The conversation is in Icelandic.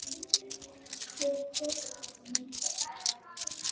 Hver tekur þessar myndir?